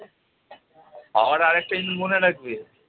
আবার আরেকটা জিনিস মনে রাখবে।